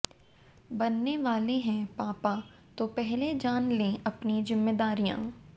बनने वाले हैं पापा तो पहले जान लें अपनी ज़िम्मेदारियां